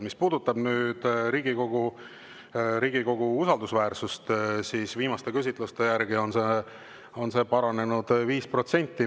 Mis puudutab Riigikogu usaldusväärsust, siis viimaste küsitluste järgi on see paranenud 5%.